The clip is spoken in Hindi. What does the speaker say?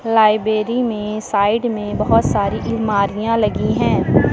लाइब्रेरी में साइड में बहुत सारी अलमारियां लगी हैं।